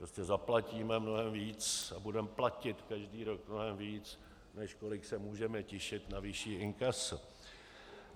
Prostě zaplatíme mnohem víc a budeme platit každý rok mnohem víc, než kolik se můžeme těšit na vyšší inkaso.